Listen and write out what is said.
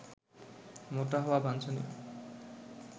মোটা হওয়া বাঞ্ছনীয়